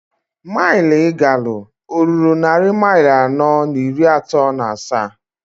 Mail I galụ oruru nnari mail anọọ n'iri ato n'asaa?